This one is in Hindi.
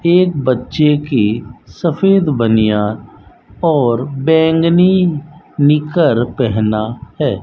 एक बच्चे की सफेद बनियान और बैंगनी निकर पेहना है।